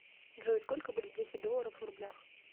джой сколько будет десять долларов в рублях